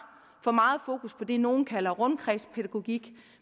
for meget fokus på det nogle kalder rundkredspædagogik